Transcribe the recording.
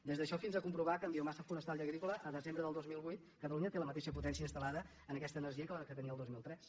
des d’això fins a comprovar que en biomassa forestal i agrícola el desembre del dos mil vuit catalunya té la mateixa potència instal·lada en aquesta energia que la que tenia el dos mil tres